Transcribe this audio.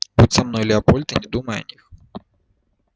будь со мной леопольд и не думай о них